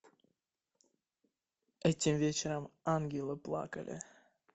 этим вечером ангелы плакали